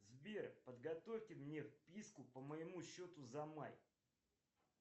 сбер подготовьте мне выписку по моему счету за май